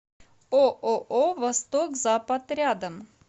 ооо восток запад рядом